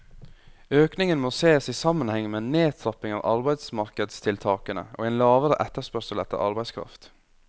Økningen må ses i sammenheng med en nedtrapping av arbeidsmarkedstiltakene og en lavere etterspørsel etter arbeidskraft.